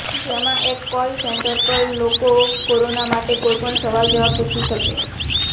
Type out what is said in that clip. જેમાં એક call centre પર લોકો કોરોના માટે કોઇપણ સવાલજવાબ પૂછી શકે